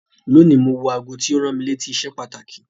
Lónìí, mo wọ aago tí ó rán mi létí iṣẹ́ pàtàkì.